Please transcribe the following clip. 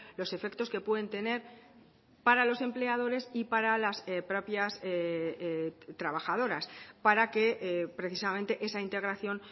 los efectos que pueden tener para los empleadores y para las propias trabajadoras para que precisamente esa integración